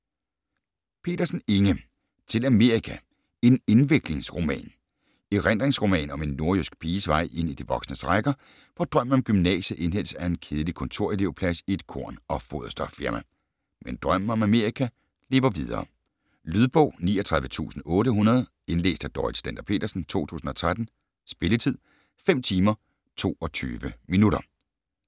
Pedersen, Inge: Til Amerika: en indviklingsroman Erindringsroman om en nordjysk piges vej ind i de voksnes rækker, hvor drømmen om gymnasiet indhentes af en kedelig kontorelevplads i et korn- og foderstofsfirma. Men drømmen om Amerika lever videre. Lydbog 39800 Indlæst af Dorrit Stender-Petersen, 2013. Spilletid: 5 timer, 22 minutter.